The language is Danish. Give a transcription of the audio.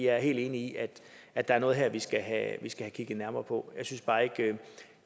er helt enig i at at der er noget her vi skal have kigget nærmere på